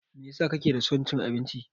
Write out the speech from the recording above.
Meyasa kake da son cin abinci?